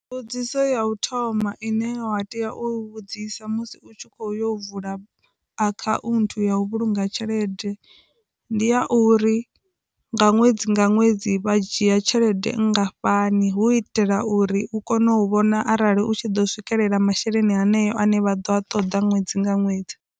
Mbudzisa ya u thoma ine wa tea u vhudzisa musi u tshi kho yo vula akhaunthu ya u vhulunga tshelede ndi a uri nga ṅwedzi nga ṅwedzi vha dzhia tshelede nngafhani hu itela uri u kone u vhona arali u tshi ḓo swikelela masheleni haneyo ane vha ḓo a ṱoḓa ṅwedzi nga ṅwedzi.